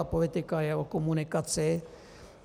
A politika je o komunikaci.